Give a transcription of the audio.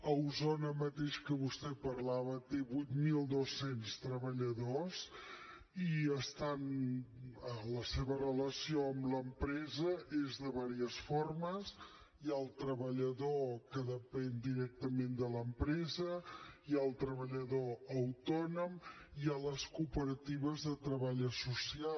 a osona mateix que vostè parlava té vuit mil dos cents treballadors i la seva relació amb l’empresa és de diverses formes hi ha el treballador que depèn directament de l’empresa hi ha el treballador autònom i hi ha les cooperatives de treball associat